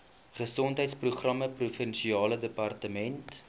gesondheidsprogramme provinsiale departement